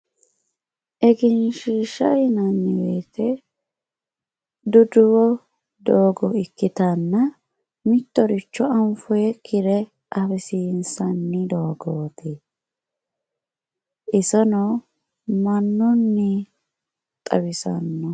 egenshiishsha yinanni woyiite duduwo doogo ikkitanna mittoricho anfoyiikkire afisiinsanni doogooti isono mannunni xawisannoho.